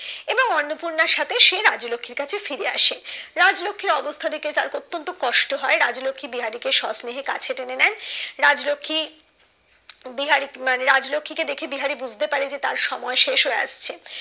অন্নপূর্ণার সাথে সে রাজলক্ষির কাছে ফিরে আসে রাজলক্ষির অবস্থা দেখে তার অতন্ত কষ্ট হয় রাজলক্ষী বিহারি কে স্ব স্নেহে কাছে টেনে নেয় রাজলক্ষী বিহারি মনে রাজলক্ষী কে দেখে বিহারি বুঝতে পারে ক তার সময় শেষ হয়ে আসছে